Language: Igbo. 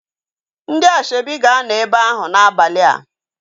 Ndị asoebi ga-anọ ebe ahu n'abalia